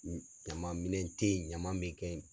U ɲaman minɛn te ye ɲaman me kɛ